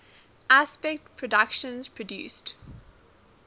aspect productions produced